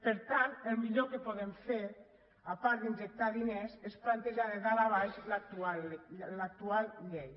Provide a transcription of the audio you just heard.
per tant el millor que podem fer a part d’injectar diners és plantejar de dalt a baix l’actual llei